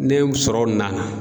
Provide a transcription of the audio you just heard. New sɔrɔ nana.